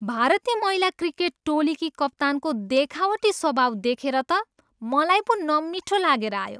भारतीय महिला क्रिकेट टोलीकी कप्तानको देखावटी स्वभाव देखेर त मलाई पो नमिठो लागेर आयो।